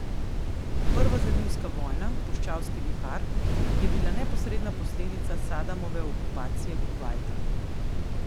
Prva zalivska vojna, Puščavski vihar, je bila neposredna posledica Sadamove okupacije Kuvajta.